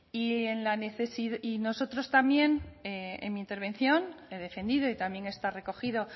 y nosotros también en mi intervención he defendido y también está recogido